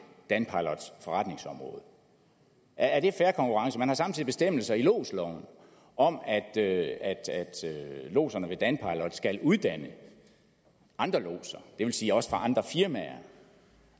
danpilots forretningsområde er det fair konkurrence man har samtidig bestemmelser i lodsloven om at at lodserne i danpilot skal uddanne andre lodser det vil sige også fra andre firmaer